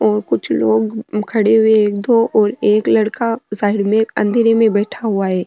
और कुछ लोग खड़े हुए है एक दो और एक लड़का साइड में अँधेरे में बैठा हुआ है।